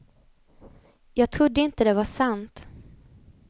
Jag trodde inte det var sant.